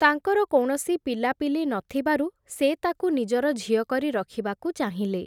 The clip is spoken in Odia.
ତାଙ୍କର କୌଣସି ପିଲାପିଲି ନଥିବାରୁ, ସେ ତାକୁ ନିଜର ଝିଅ କରି ରଖିବାକୁ ଚାହିଁଲେ ।